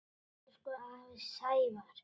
Elsku afi Sævar.